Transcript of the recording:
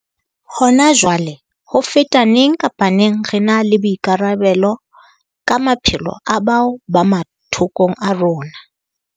Hona jwale, ho feta neng kapa neng, re na le boikarabelo ka maphelo a bao ba mathokong a rona.